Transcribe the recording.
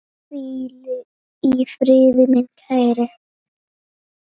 Hvíl í friði, minn kæri.